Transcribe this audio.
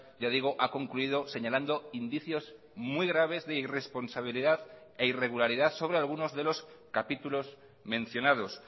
ya digo ha concluido señalando indicios muy graves de irresponsabilidad e irregularidad sobre algunos de los capítulos mencionados